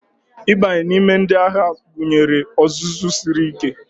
Ịbanye n'ime ndị agha gụnyere ọzụzụ siri ike